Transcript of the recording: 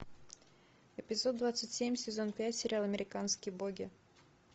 эпизод двадцать семь сезон пять сериал американские боги